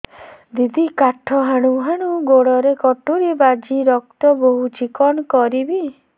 ଦିଦି କାଠ ହାଣୁ ହାଣୁ ଗୋଡରେ କଟୁରୀ ବାଜି ରକ୍ତ ବୋହୁଛି କଣ କରିବି